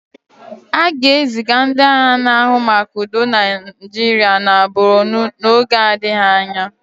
A ga-eziga ndị agha na-ahụ maka udo na Naịjirịa na Bornu n'oge adịghị anya.